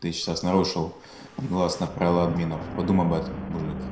ты сейчас нарушил негласное правило админов подумай об этом мужик